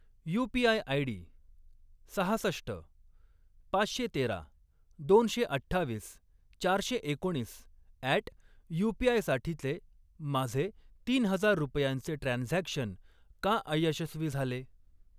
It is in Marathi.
यूपीआय आयडी सहासष्ट, पाचशे तेरा, दोनशे अठ्ठावीस, चारशे एकोणीस अॅट युपीआय साठीचे माझे तीन हजार रुपयांचे ट्रान्झॅक्शन का अयशस्वी झाले?